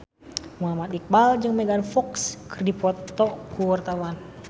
Muhammad Iqbal jeung Megan Fox keur dipoto ku wartawan